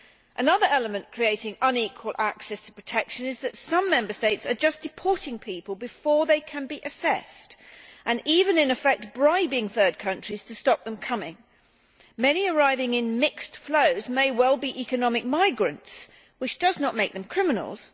Another element creating unequal access to protection is that some Member States are just deporting people before they can be assessed and even, in effect, bribing third countries to stop them coming. Many arriving in mixed flows may well be economic migrants, which does not make them criminals.